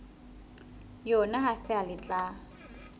yona ha feela le tla